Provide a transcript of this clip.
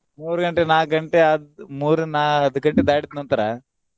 ಮೂರ್ ಗಂಟೆ, ನಾಕ್ ಗಂಟೆ ಆತ್ ಮೂರ್ ನಾಕ್ ಗಂಟೆ ದಾಟಿದ್ ನಂತರ.